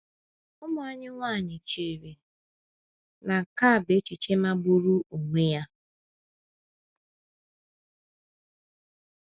Ụmụ anyị nwanyị chere na nke a bụ echiche magburu onwe ya.